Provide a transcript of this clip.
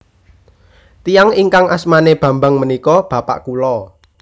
Tiyang ingkang asmane Bambang menika bapak kula